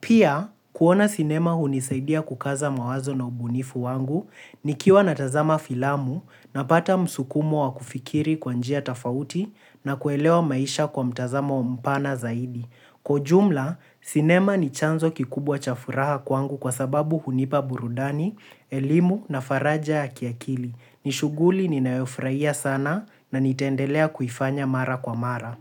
Pia, kuona sinema hunisaidia kukaza mawazo na ubunifu wangu nikiwa natazama filamu napata msukumo wa kufikiri kwa njia tofauti na kuelewa maisha kwa mtazamo mpana zaidi. Kwa ujumla, sinema ni chanzo kikubwa cha furaha kwangu kwa sababu hunipa burudani, elimu na faraja ya kiakili. Ni shughuli ninayofurahia sana na nitendelea kuifanya mara kwa mara.